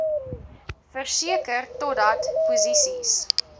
verseker totdat posisies